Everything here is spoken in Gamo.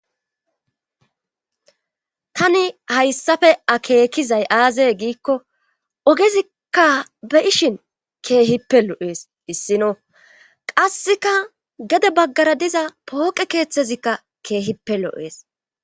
tani hayssafe akeekizay aaze giikko ogezikka be ishin keehippe lo7ees issino qasseka gede baggara diza pooqe keeththezikka keehippe lo7ees